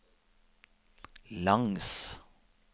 langs